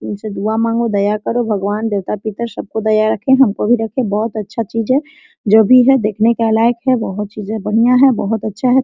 उन से दुआ मांगो दया करो भगवान देवता पिता सबको दया रखें हमको भी रखे बहुत अच्छा चीज है जो भी है देखने के लायक है बहुत चीजे बढ़िया है बहुत अच्छा है।